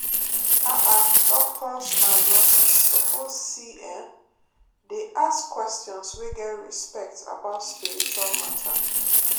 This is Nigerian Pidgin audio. ah ah doctors and nurses suppose see[um]dey ask questions wey get respect about spiritual matter.